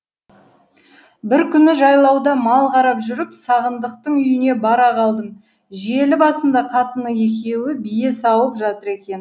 бір күні жайлауда мал қарап жүріп сағындықтың үйіне бара қалдым желі басында қатыны екеуі бие сауып жатыр екен